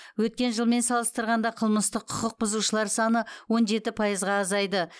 өткен жылмен салыстырғанда қылмыстық құқық бұзушылар саны он жеті пайызға азайды